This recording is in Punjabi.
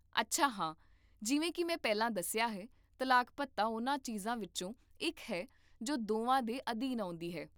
ਅੱਛਾ ਹਾਂ, ਜਿਵੇਂ ਕਿ ਮੈਂ ਪਹਿਲਾਂ ਦੱਸਿਆ ਹੈ, ਤਲਾਕ ਭੱਤਾ ਉਹਨਾਂ ਚੀਜ਼ਾਂ ਵਿੱਚੋਂ ਇੱਕ ਹੈ ਜੋ ਦੋਵਾਂ ਦੇ ਅਧੀਨ ਆਉਂਦੀ ਹੈ